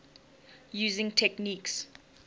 using techniques